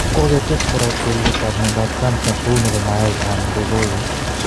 Kogotes kora kelet ab miondab cancer, kou nebo mayaik anan ko koet